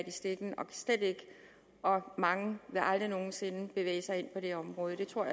i stikken mange vil aldrig nogen sinde bevæge sig ind på det område jeg tror